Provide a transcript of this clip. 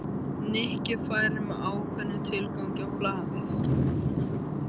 Nikki færi með ákveðnum tilgangi á ballið.